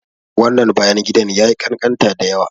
Wannan bayan gidan yayi ƙanƙanta dayawa.